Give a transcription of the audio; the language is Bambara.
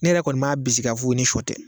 Ne yɛrɛ kɔni m'a bisigiya fo ye ni sɔ tɛ